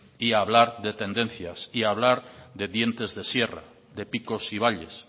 y hablar de tendencia y hablar de dientes de sierra de picos y valles